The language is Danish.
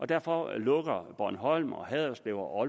derfor lukker bornholm haderslev og